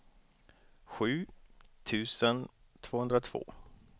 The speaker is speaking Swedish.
sju tusen tvåhundratvå